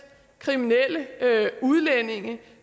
kriminelle udlændinge